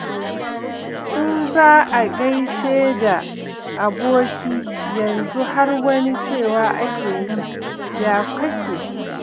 In za a gaishe da aboki yanzu har wani cewa ake yi ya kake?